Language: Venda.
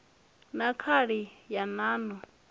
na khali ya nan o